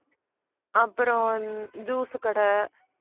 அப்புறம் உம் juice கடை